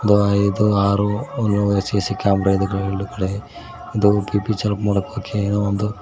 ಐದು ಆರು ಒಂದ್ ಮೂರು ಸಿ_ಸಿ ಕ್ಯಾಮೆರಾ ಇದೆ ಎರೆಡು ಕಡೆ ಒಂದು ಬಿ_ಪಿ ಚಲ್ಪ್ ಮೂಲಕಕ್ಕೆ ಏನೋ ಒಂದು --